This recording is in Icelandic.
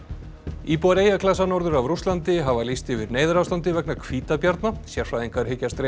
íbúar eyjaklasa norður af Rússlandi hafa lýst yfir neyðarástandi vegna hvítabjarna sérfræðingar hyggjast reyna